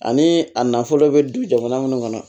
Ani a nafolo bɛ di jamana minnu kɔnɔ